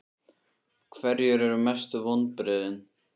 Hverjir eru mestu vonbrigðin?